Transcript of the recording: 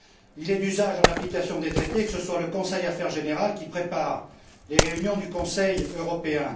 Il est d'usage, en application des traités, que ce soit le Conseil Affaires générales qui prépare les réunions du Conseil européen.